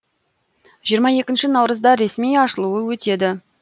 жиырма екінші наурызда ресми ашылуы өтеді